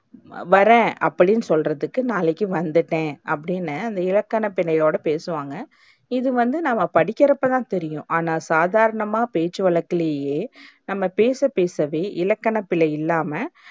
வரேன். அப்டின்னு சொல்றதுக்கு நாளக்கி வந்துட்டேன் அப்டின்னு அந்த இலக்கணபிழையோட பேசுவாங்க. இது வந்து நம்ம படிக்கிறப்போத புரியும். ஆனா, சாதாரணமா பேச்சு வழக்குலையே நம்ம பேச பேசவே இலக்கண பிழை இல்லாம,